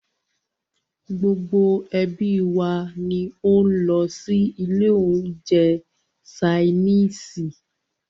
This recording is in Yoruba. Gbogbo ẹ́bí wa ní o lọ sí ilé oúnjẹ ṣainiisi.